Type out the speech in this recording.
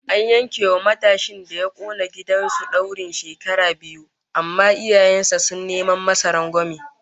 An yanke wa matashin da ya kona gidan su daurin shekara biyu, amma iyayen sa sun neman masa rangwame